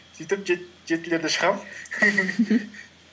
сөйтіп жетілерде шығамын